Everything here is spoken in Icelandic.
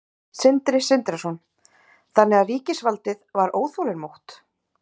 Sindri Sindrason: Þannig að ríkisvaldið var óþolinmótt?